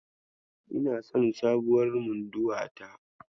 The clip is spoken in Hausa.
Ina son sabuwar munduwa ta.